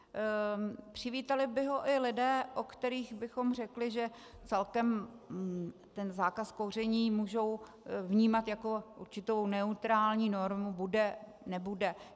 Přivítali by ho i lidé, o kterých bychom řekli, že celkem ten zákaz kouření můžou vnímat jako určitou neutrální normu, bude, nebude.